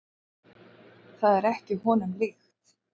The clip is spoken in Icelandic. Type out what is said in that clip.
Það er ekki honum líkt.